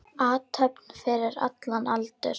Athöfn fyrir allan aldur.